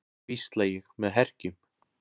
hvísla ég með herkjum.